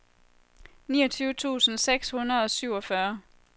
niogtyve tusind seks hundrede og syvogfyrre